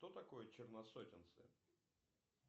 что такой черносотенцы